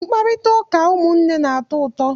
Mkparịtaụka ụmụnne na-atọ ụtọ.